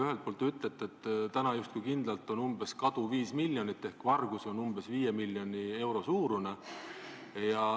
Ühelt poolt te ütlete, et kadu on justkui kindlalt 5 miljonit ehk varastatud on umbes 5 miljoni euro eest.